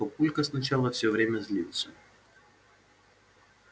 папулька сначала всё время злился